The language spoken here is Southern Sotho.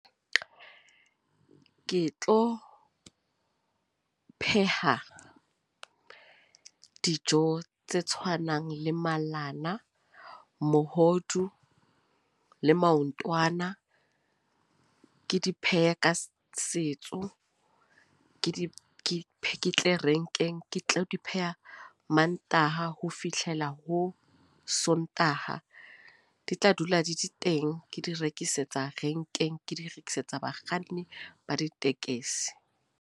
Ke tlo pheha dijo tse tshwanang le malana, mohodu le maotwana. Ke di pheha ka setso. Ke di ketle renkeng, ke tlo di pheha Mantaha ho fihlela ho Sontaha. Di tla dula di di teng, ke di rekisetsa renkeng. Ke di rekisetsa bakganni ba ditekesi.